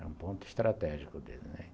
Era um ponto estratégico dele, né..